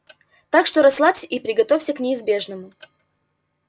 так что расслабься и приготовься к неизбежному